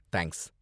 thanks